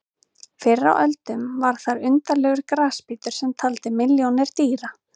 Fyrr á öldum var þar undarlegur grasbítur sem taldi milljónir dýra.